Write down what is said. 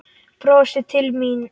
Brostir til mín.